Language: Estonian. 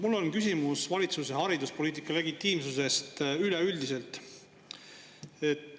Mul on küsimus valitsuse hariduspoliitika legitiimsuse kohta üleüldiselt.